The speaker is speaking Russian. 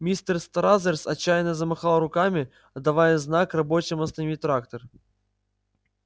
мистер стразерс отчаянно замахал руками давая знак рабочим остановить трактор